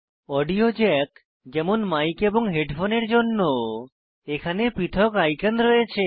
audio jack যেমন mic এবং হেডফোনের জন্য এখানে পৃথক আইকন রয়েছে